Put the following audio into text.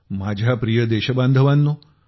माझ्या प्रिय देश बांधवानो